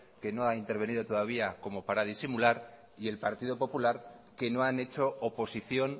que no ha intervenido todavía como para disimular y el partido popular que no han hecho oposición